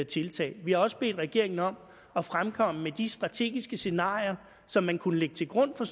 tiltag vi har også bedt regeringen om at fremkomme med de strategiske scenarier som man kunne lægge til grund for